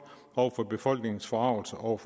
over for befolkningens forargelse over